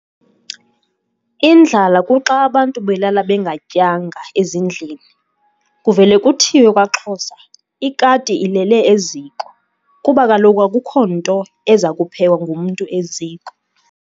Indlala kuxa abantu belala bengatyanga ezindlini. Kuvele kuthiwe kwaXhosa "Ikati ilele eziko" kuba kaloku akukho nto eza kuphekwa ngumntu eziko.